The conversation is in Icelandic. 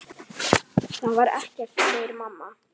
Það var ekkert, segir mamma.